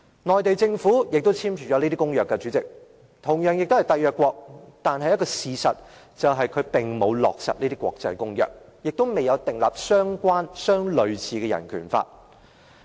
內地政府亦簽署了這些公約，代理主席，中國同樣是締約國，但事實上，它並沒有落實這些國際公約，也沒有訂立相關或類似的人權法。